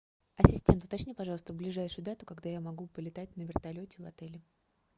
ассистент уточни пожалуйста ближайшую дату когда я могу полетать на вертолете в отеле